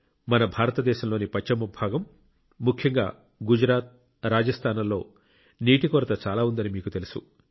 మన భారతదేశంలోని పశ్చిమ భాగం ముఖ్యంగా గుజరాత్ రాజస్థాన్ లలో నీటి కొరత చాలా ఉందని మీకు తెలుసు